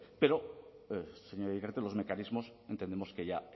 pero señora iriarte los mecanismos entendemos que ya